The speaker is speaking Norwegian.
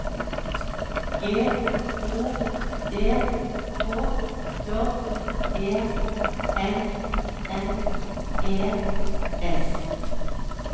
G O D K J E N N E S